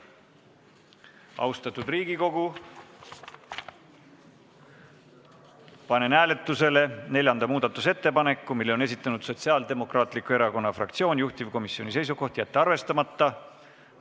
Austatud Riigikogu, panen hääletusele neljanda muudatusettepaneku, mille on edastanud Sotsiaaldemokraatliku Erakonna fraktsioon, juhtivkomisjoni seisukoht: jätta arvestamata.